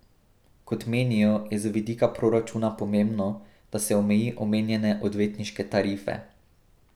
Kot menijo, je z vidika proračuna pomembno, da se omeji omenjene odvetniške tarife.